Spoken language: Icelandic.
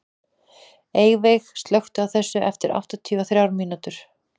Eyveig, slökktu á þessu eftir áttatíu og þrjár mínútur.